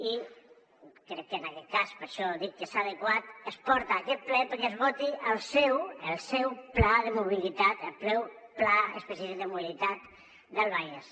i crec que en aquest cas per això dic que és adequat es porta a aquest ple perquè es voti el seu el seu pla de mobilitat el seu pla específic de mobilitat del vallès